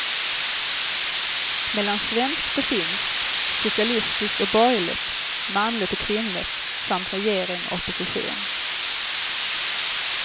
Mellan svenskt och finskt, socialistiskt och borgerligt, manligt och kvinnligt samt regering och opposition.